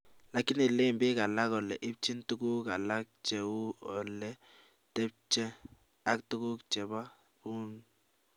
lakini len biik alak kole ipchin tuguk alak che u ole tebchee ak tuguk cheba buun